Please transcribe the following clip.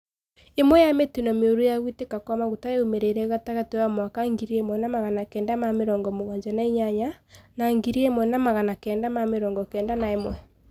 Imwe ya mitino mioru biũ ya guikika kwa maguta yaumirire gatagati wa mwaka ngiri imwe na magana kenda na mĩrongo mũgwanja na inyanya na ngirĩ ĩmwe na magana kenda na mĩrongo kenda na ĩmwe.